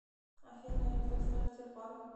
афина электросталь тербанк